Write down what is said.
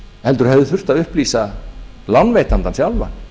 heldur hefði þurft að upplýsa lánveitandann sjálfan